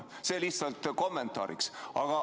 Nii palju lihtsalt kommentaariks.